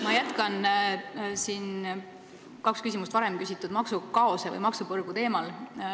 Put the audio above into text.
Ma jätkan kaks küsimust varem küsitud maksukaose või maksupõrgu teemal.